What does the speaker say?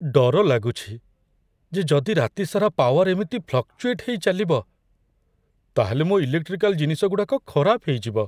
ଡର ଲାଗୁଛି ଯେ ଯଦି ରାତି ସାରା ପାୱାର୍ ଏମିତି ଫ୍ଲକ୍‌ଚୁଏଟ୍ ହେଇ ଚାଲିବ, ତା'ହେଲେ ମୋ' ଇଲେକ୍ଟ୍ରିକାଲ୍ ଜିନିଷଗୁଡ଼ାକ ଖରାପ ହେଇଯିବ ।